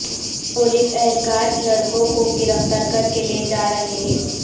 police اہلکار لڑکوں کوگرفتار کر کے لے جا رہے ہیں